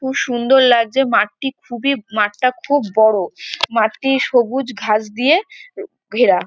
খু সুন্দর লাগছে মাঠটি খুবি মাঠটা খুব বড়ো। মাঠটি সবুজ ঘাস দিয়ে এ ঘেরা ।